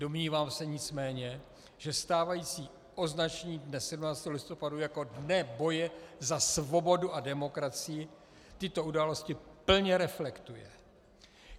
Domnívám se nicméně, že stávající označení dne 17. listopadu jako Dne boje za svobodu a demokracii tyto události plně reflektují.